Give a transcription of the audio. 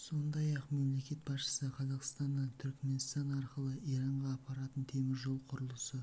сондай-ақ мемлекет басшысы қазақстаннан түрікменстан арқылы иранға апаратын темір жол құрылысы